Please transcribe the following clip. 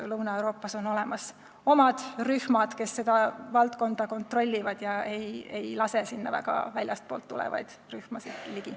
Lõuna-Euroopas on olemas omad rühmad, kes seda valdkonda kontrollivad ega lase väljastpoolt tulevaid rühmasid väga ligi.